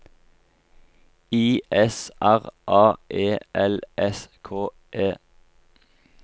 I S R A E L S K E